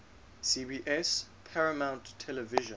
cbs paramount television